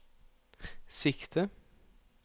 sikte